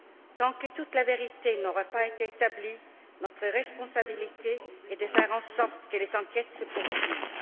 Tant que toute la vérité n'aura pas été établie, notre responsabilité est de faire en sorte que les enquêtes se poursuivent.